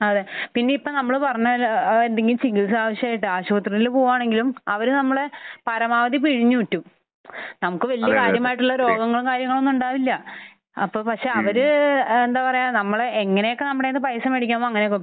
അതെ. പിന്നെ ഇപ്പോൾ നമ്മൾ പറഞ്ഞ ആ എന്തെങ്കിലും ചികിത്സ ആവശ്യമായിട്ട് ആശുപത്രിയിൽ പോവാണെങ്കിലും അവർ നമ്മളെ പരമാവധി പിഴിഞ്ഞൂറ്റും. നമുക്ക് വലിയ കാര്യമായിട്ടുള്ള രോഗങ്ങളും കാര്യങ്ങളും ഒന്നും ഉണ്ടാവില്ല. അപ്പോൾ പക്ഷെ അവർ ഏഹ് എന്താ പറയാ നമ്മളെ എങ്ങനെയൊക്കെ നമ്മുടെ കയ്യിൽ നിന്ന് പൈസ മേടിക്കാമോ അങ്ങനെയൊക്കെ